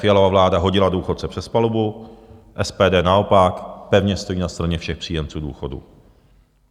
Fialova vláda hodila důchodce přes palubu, SPD naopak pevně stojí na straně všech příjemců důchodu.